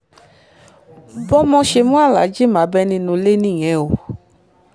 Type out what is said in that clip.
bọ́mọ ṣe mú aláàjì mábẹ́ nínú ilé nìyẹn o